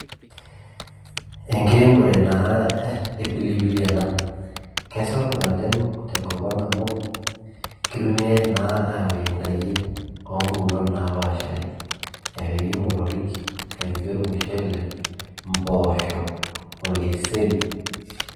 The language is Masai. Enkiremore naa e pilipili ena kesapuk naleng' tenkop ang amu kitumiai naa aapik ndaiki oompukunot naapashari epiki imotorik epiki ormushele mpoosho orkeseri.